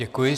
Děkuji.